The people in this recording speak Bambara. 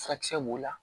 Furakisɛ b'o la